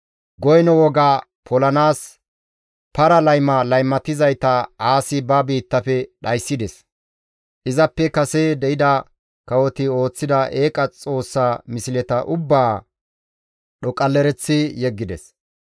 Goyno woga polanaas para layma laymatizayta Aasi ba biittafe dhayssides; izappe kase de7ida kawoti ooththida eeqa xoossa misleta ubbaa dhoqqalereththi yeggides.